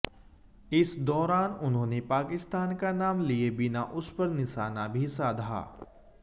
इस दौरान उन्होंने पाकिस्तान का नाम लिए बिना उसपर निशाना भी साधा